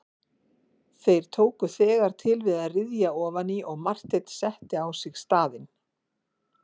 Þeir tóku þegar til við að ryðja ofan í og Marteinn setti á sig staðinn.